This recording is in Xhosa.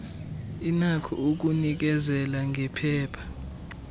inakho ukunikezela ngephepha